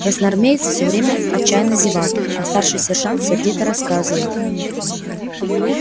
красноармеец всё время отчаянно зевал а старший сержант сердито рассказывал